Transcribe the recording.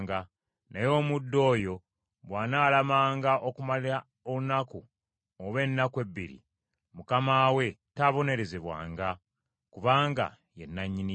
naye omuddu oyo bw’anaalamanga okumala olunaku oba ennaku ebbiri, mukama we taabonerezebwenga, kubanga ye nannyini ye.